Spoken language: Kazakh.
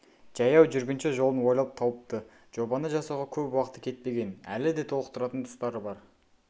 жаяу жүргінші жолын ойлап тауыпты жобаны жасауға көп уақыты кетпеген әлі де толықтыратын тұстары бар